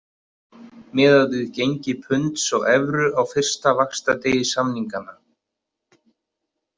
Miðað við gengi punds og evru á fyrsta vaxtadegi samninganna.